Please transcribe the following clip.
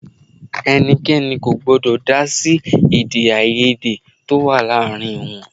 Ẹnikẹni kò gbọ́dọ̀ dá sí Èdè-áiyedé tó wá láàárín wọn.